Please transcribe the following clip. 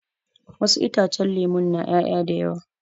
Wasu itacen lemu na ƴaya da yawa